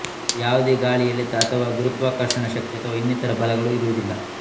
ಯಾವುದೇ ಗಾಳಿ ಎಳೆತ ಅಥವಾ ಗುರುತ್ವಾಕರ್ಷಣ ಶಕ್ತಿ ಅಥವಾ ಇನ್ನಿತರ ಬಲಗಳು ಇರುವುದಿಲ್ಲ